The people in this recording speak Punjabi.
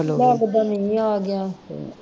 ਲੱਗਦਾ ਮੀਹ ਆ ਗਿਆ